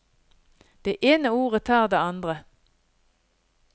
Det ene ordet tar det andre.